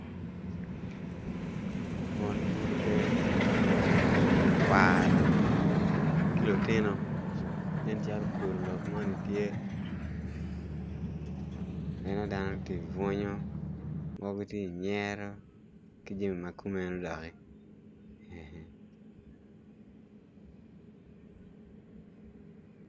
Mon muruke ruk kwaro ki lutino nen calo kuru lok moni tye aneno dano ti bunyu mogo ti nyero ki jemi ma kumeno doki